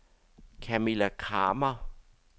Kamilla Kramer